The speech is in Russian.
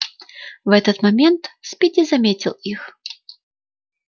в этот момент спиди заметил их